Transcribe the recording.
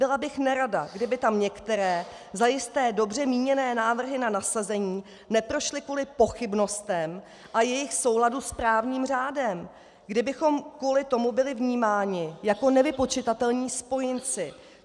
Byla bych nerada, kdyby tam některé zajisté dobře míněné návrhy na nasazení neprošly kvůli pochybnostem o jejich souladu s právním řádem, kdybychom kvůli tomu byli vnímání jako nevypočitatelní spojenci.